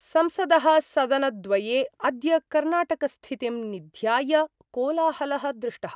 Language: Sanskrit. संसद: सदनद्वये अद्य कर्णाटकस्थितिं निध्याय कोलाहल: दृष्टः।